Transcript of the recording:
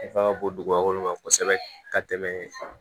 Nafa ka bon dugukolo kan kosɛbɛ ka tɛmɛ